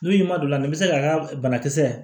N'i ma don a la ni bɛ se k'a ka banakisɛ